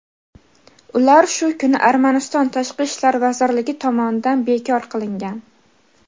ular shu kuni Armaniston tashqi ishlar vazirligi tomonidan bekor qilingan.